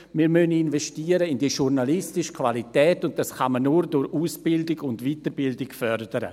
wir müssen in die journalistische Qualität investieren, und diese kann man nur durch Ausbildung und Weiterbildung fördern.